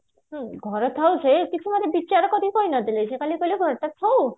ଘର ଥାଏ ଯେ କିଛି ଗୋଟେ ବିଚାର କରିକି କରି ନଥିଲେ ଯେ ଖାଲି କହିଲେ ଘରଟା ଥାଉ